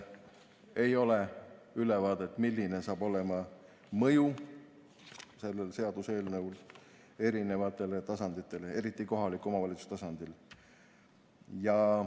Ei ole ülevaadet, milline saab olema selle seaduseelnõu mõju erinevatele tasanditele, eriti kohaliku omavalitsuse tasandile.